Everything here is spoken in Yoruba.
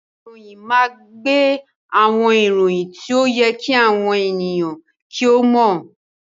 Ìròyìn máa ń gbé àwọn ìròyìn tí ó yẹ kí àwọn ènìyàn kí ó mọ̀